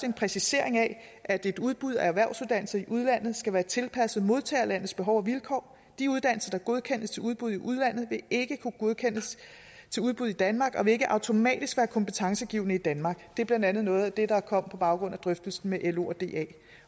en præcisering af at et udbud af erhvervsuddannelser i udlandet skal være tilpasset modtagerlandets behov og vilkår de uddannelser der godkendes til udbud i udlandet vil ikke kunne godkendes til udbud i danmark og vil ikke automatisk være kompetencegivende i danmark det er blandt andet noget af det der kom på baggrund af drøftelsen med lo